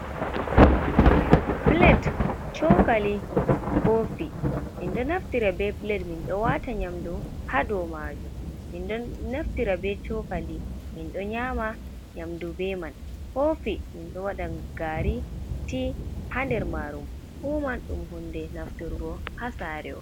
Pulet, cokaali, koofi. Min ɗo naftira bee pulet, min ɗo waata nyaamdu haa dow maajum. Min ɗo naftira bee cookali min ɗo nyaama nyaamdu bee man. Koofi min ɗo waɗa gaari, tii haa nder maaru. Fuu man ɗum huunde nafturgo haa saare on.